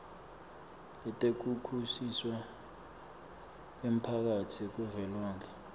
letekushushiswa kwemphakatsi kuvelonkhe